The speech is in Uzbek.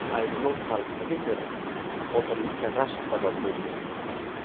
Ayblov talqiniga ko‘ra, qotillikka rashk sabab bo‘lgan.